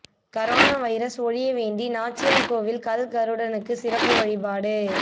corona virus ஒழிய வேண்டி நாச்சியாா் கோவில் கல் கருடனுக்குச் சிறப்பு வழிபாடு